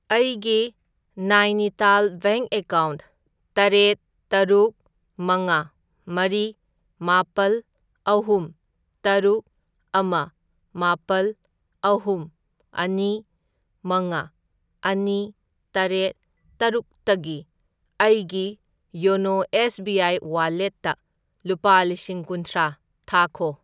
ꯑꯩꯒꯤ Nainital bank account ꯇꯔꯦꯠ, ꯇꯔꯨꯛ, ꯃꯉꯥ, ꯃꯔꯤ, ꯃꯥꯄꯜ, ꯑꯍꯨꯝ, ꯇꯔꯨꯛ, ꯑꯃ, ꯃꯥꯄꯜ, ꯑꯍꯨꯝ, ꯑꯅꯤ, ꯃꯉꯥ, ꯑꯅꯤ ꯇꯔꯦꯠ, ꯇꯔꯨꯛ ꯇꯒꯤ ꯑꯩꯒꯤ ꯌꯣꯅꯣ ꯑꯦꯁ ꯕꯤ ꯑꯥꯏ ꯋꯥꯂꯦꯠꯇ ꯂꯨꯄꯥ ꯂꯤꯁꯤꯡ ꯀꯨꯟꯊ꯭ꯔꯥ ꯊꯥꯈꯣ꯫